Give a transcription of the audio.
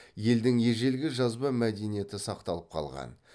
елдің ежелгі жазба мәдениеті сақталып қалған